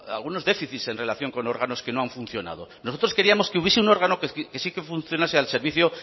algunos déficits en relación con órganos que no han funcionado nosotros queríamos que hubiese un órgano que sí funcionase al servicio